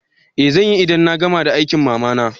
Eh zanyi, idan na gama da aikin mama na.